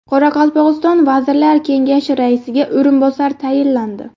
Qoraqalpog‘iston Vazirlar Kengashi raisiga o‘rinbosar tayinlandi.